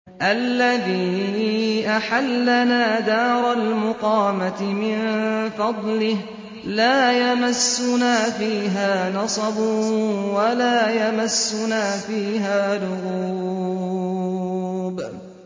الَّذِي أَحَلَّنَا دَارَ الْمُقَامَةِ مِن فَضْلِهِ لَا يَمَسُّنَا فِيهَا نَصَبٌ وَلَا يَمَسُّنَا فِيهَا لُغُوبٌ